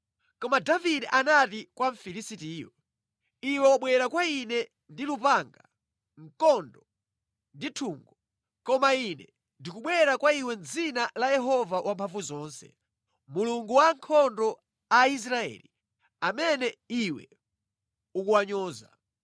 Koma Davide anati kwa Mfilisitiyo, “Iwe wabwera kwa ine ndi lupanga, mkondo ndi nthungo, koma ine ndikubwera kwa iwe mʼdzina la Yehova Wamphamvuzonse, Mulungu wa ankhondo Aisraeli amene iwe ukuwanyoza.